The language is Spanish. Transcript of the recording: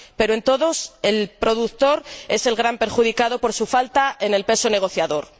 pero, en todos, el productor es el gran perjudicado por su falta de peso negociador.